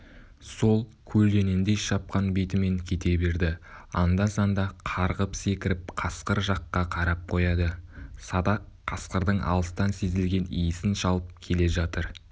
сол көлденеңдей шапқан бетімен кете берді анда-санда қарғып-секіріп қасқыр жаққа қарап қояды садақ қасқырдың алыстан сезілген исін шалып келе жатыр